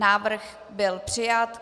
Návrh byl přijat.